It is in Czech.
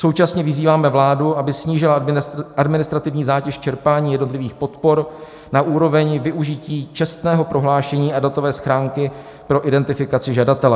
Současně vyzýváme vládu, aby snížila administrativní zátěž čerpání jednotlivých podpor na úroveň využití čestného prohlášení a datové schránky pro identifikaci žadatele.